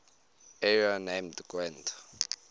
area named gwent